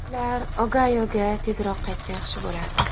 Ular Ogayoga tezroq qaytsa yaxshi bo‘lardi.